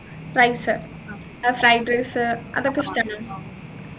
rice fried rice അതൊക്കെ ഇഷ്ടാണോ